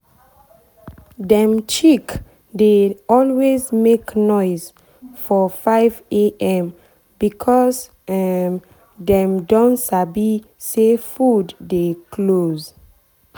dem chick dey always make noise for 5am because um dem don sabi say food dey close.